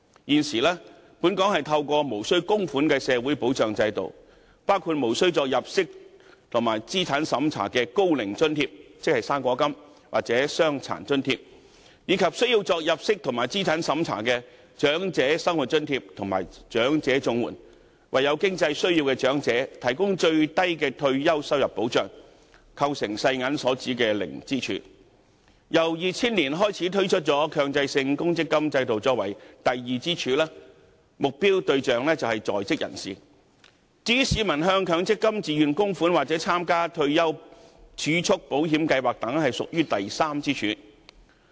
現時，本港透過無須供款的社會保障制度，包括無須入息及資產審查的高齡津貼或傷殘津貼，以及需要入息及資產審查的長者生活津貼及長者綜援，為有經濟需要的長者提供最低的退休收入保障，構成世界銀行所指的零支柱；然後，從2000年起推出強積金制度作出第二支柱，目標對象為在職人士；至於市民向強積金自願供款或參加退休儲蓄保險計劃等，便屬於第三支柱。